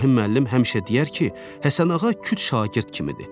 İbrahim müəllim həmişə deyər ki, Həsənağa küt şagird kimidir.